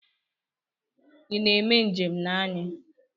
Ị na-eme njem na anyị?